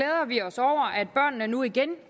er dem regeringen